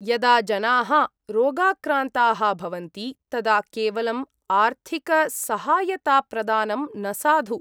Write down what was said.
यदा जनाः रोगाक्रान्ताः भवन्ति तदा केवलम् आर्थिकसहायताप्रदानं न साधु।